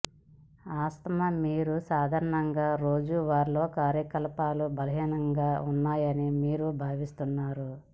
asthma మీ సాధారణ రోజువారీ కార్యకలాపాలు బలహీనంగా ఉన్నాయని మీరు భావిస్తున్నారు